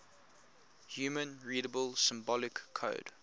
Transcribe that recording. human readable symbolic code